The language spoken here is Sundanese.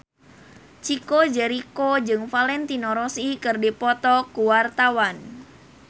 Chico Jericho jeung Valentino Rossi keur dipoto ku wartawan